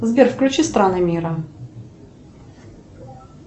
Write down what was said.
сбер включи страны мира